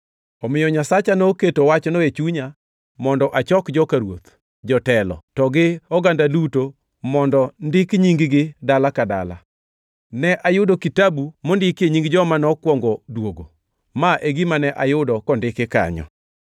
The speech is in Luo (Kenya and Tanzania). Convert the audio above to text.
Omiyo Nyasacha noketo wachno e chunya mondo achok joka ruoth, jotelo, to gi oganda duto mondo ndik nying-gi dala ka dala. Ne ayudo kitabu mondikie nying joma nokwongo duogo. Ma e gima ne ayudo kondiki kanyo: